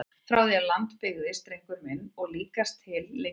Frá því að land byggðist drengur minn og líkast til lengur!